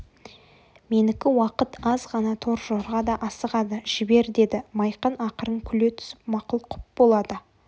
менікі уақыт аз ғана торжорға да асығады жібер деді майқан ақырын күле түсіп мақұл құп болады